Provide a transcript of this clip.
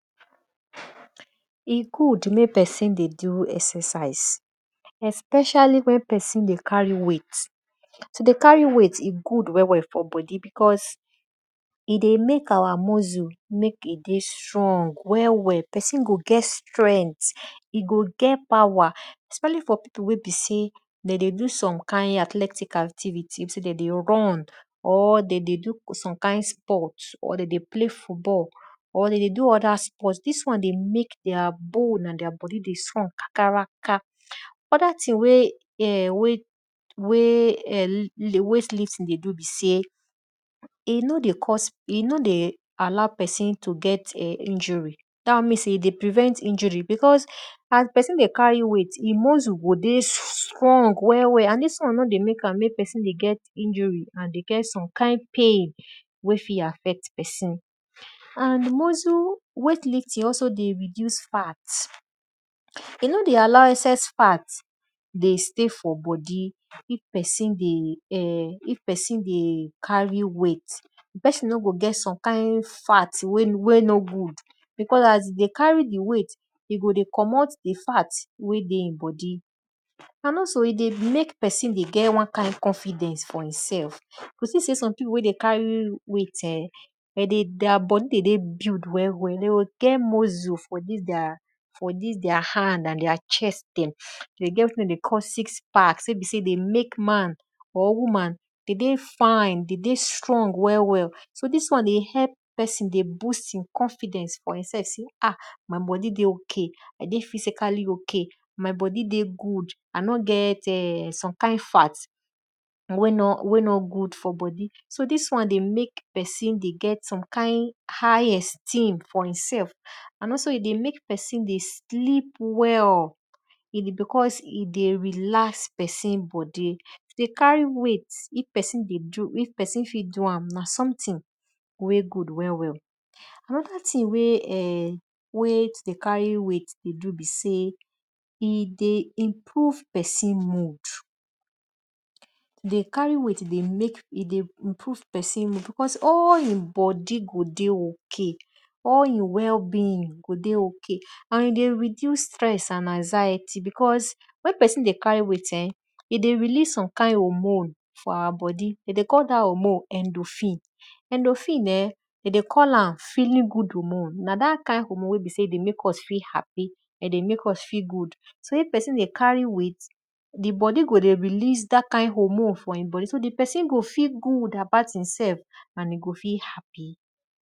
E good mek pesin dey do exercise especially mek pesin dey carry weight. To dey carry weight dey good for bodi e dey mek mek our muscle mek se dey strong well well, pesin go get strength, e go get power especially for pipu wey be sey de dey do some kind athletic activity we be sey de dey run or de dey do some kind sportor de dey play football or de dey do other sport.dis won dey mek their bone and their bodi dey strong kakaraka. Other thing wey slim tea dey do besey, e no dey cause e no dey allow pesin to get injury, da won mean se e dey prevent injury as pesin dey cary weight e muscle dey dey strong well and di won nor dey mek am mek osin dey get injury and osme kind pain wey fit affect pesin. And weight lifting also dey reduce fat, e nor dey allow excess fat de stay for bodi mek pesin dey[um]if pesin dey carry weight, di pesin nor go get some kind fat wey nor good because as e dey carry di weight e go dey commot di fat wey de e bodi and also e also dey mek mek pesin get one kind confidence for e sef. You see sey some pipu wwey dey carry weight[um], their bodi dey dey build de go get muscle for dis their hand and their chest dem, de get weti de dey call six pack wey be sey dey mek man or woman de dey fine de dey strong well well. So dis wan dey help pesin dey boost confidence for e sef sey my bodi dey ok, I dey physically ok my bodi dey goo innor getsome kind fat wey no good for bodi, so dis won dey mek pesin dey get some kindhigh esteem for e sef and also e dey mek pesin dey sleep well because e dey relax pesin bodi. To carry weight if pesin fit do am n something wey good well well anoda thing wey dey to dey carry weight dey do be sey e dey improve pesin mood, dey carry weight dey mek dey improve pesin mood because all e bodi go d ey ok, all e well being go dey ok and dey reduce stress and anxiety because wen pesin dey carry weight e dey release some kind hormone for our bodi, de dey call am endofine. Endofine de dey call am feeling good hormone na dat kind hormone wey be sey dey mek us feel happy, de dey mek us feel good, sey pesin dey carry weight, di bodi go release dat kind hormone for e bodi so di pesin go feel good about e sef and e go dey happy.